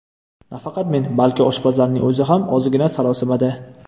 Nafaqat men, balki oshpazlarning o‘zi ham ozgina sarosimada.